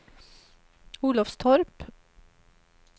Olofstorp